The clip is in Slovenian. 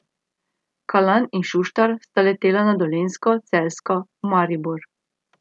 Kalan in Šuštar sta letela na Dolenjsko, Celjsko, v Maribor.